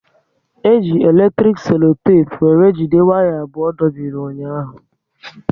E ji eletrik selotepu were jide waya abụọ dobiri ụnyaahụ